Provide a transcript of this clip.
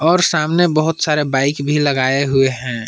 और सामने बहुत सारे बाइक भी लगाए हुए हैं।